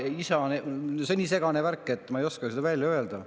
See on nii segane värk, et ma ei oska seda välja öelda.